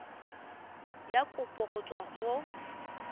ya kopo go tswa mo